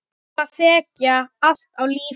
Skaflar þekja allt er lifir.